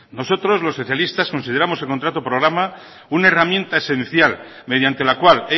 nosotros los socialistas consideramos el contrato programa una herramienta esencial mediante la cual